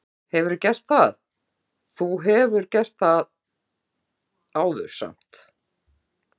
Fréttamaður: Hefurðu gert það, þú hefur gert það áður samt?